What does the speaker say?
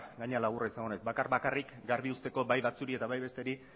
gainera laburra izango naiz bakar bakarrik garbi uzteko bai batzuei eta bai besteri